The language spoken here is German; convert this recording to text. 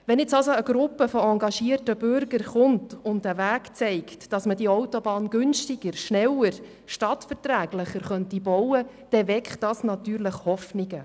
Wenn jetzt eine Gruppe engagierter Bürger kommt und einen Weg zeigt, wie man die Autobahn günstiger, schneller und stadtverträglicher bauen könnte, dann weckt das natürlich Hoffnungen.